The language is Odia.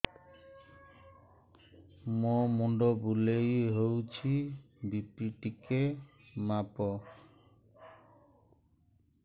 ମୋ ମୁଣ୍ଡ ବୁଲେଇ ହଉଚି ବି.ପି ଟିକେ ମାପ